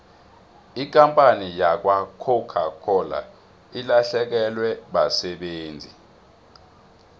ikampani yakwacoca cola ilahlekelwe basebenzi